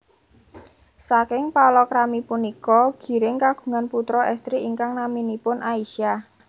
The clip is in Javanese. Saking palakrami punika Giring kagungan putra estri ingkang naminipun Aisyah